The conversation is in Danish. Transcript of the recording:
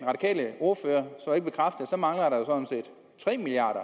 der så mangler tre milliard